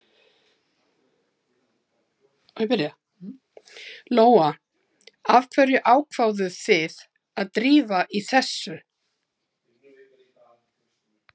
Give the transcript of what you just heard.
Lóa: Af hverju ákváðuð þið að drífa í þessu?